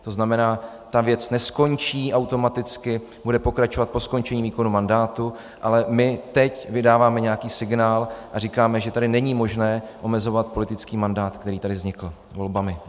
To znamená, ta věc neskončí automaticky, bude pokračovat po skončení výkonu mandátu, ale my teď vydáváme nějaký signál a říkáme, že tady není možné omezovat politický mandát, který tady vznikl volbami.